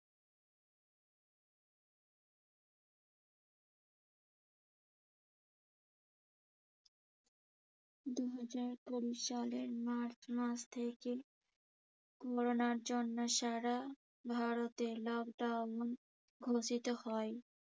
দুহাজার কুড়ি সালের মার্চ মাস থেকে করোনার জন্য সারা ভারতে lockdown ঘোষিত হয়।